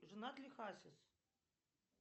женат ли хасис